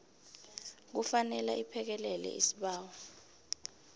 kufanele iphekelele isibawo